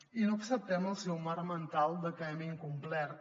i no acceptem el seu marc mental de que hem incomplert